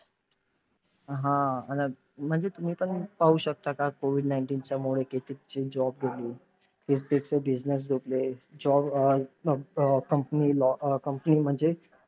हा! म्हणजे तुम्ही पण पाहू शकता का COVID nineteen च्या मुळे कितींची job गेली, कित्येकचे business झोपले. job um company um company म्हणजे हा.